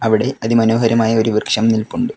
അവിടെ അതി മനോഹരമായ ഒരു വൃക്ഷം നില്പുണ്ട്.